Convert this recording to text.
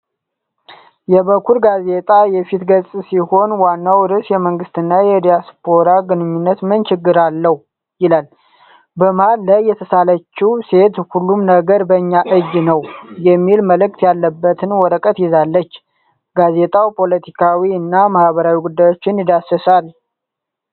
የ“በኩር” ጋዜጣየፊት ገጽ ሲሆን፣ ዋናው ርዕስ "የመንግሥትና የዲያስፖራው ግንኙነት ምን ችግር አለው?" ይላል። በመሀል ላይ የተሳለችው ሴት "ሁሉም ነገር በእኛ እጅ ነው" የሚል መልእክት ያለበትን ወረቀት ይዛለች። ጋዜጣው ፖለቲካዊ እና ማኅበራዊ ጉዳዮችን ይዳስሳል።